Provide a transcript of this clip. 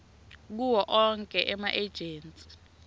kuwo onkhe emaejensi